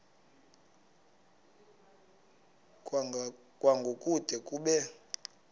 kwango kude kube